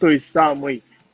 то есть самый